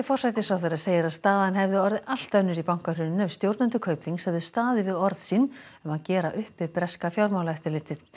forsætisráðherra segir að staðan hefði orðið allt önnur í bankahruninu ef stjórnendur Kaupþings hefðu staðið við orð sín um að gera upp við breska fjármálaeftirlitið